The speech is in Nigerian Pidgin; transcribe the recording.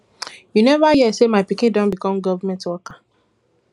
you never hear say my pikin don become government worker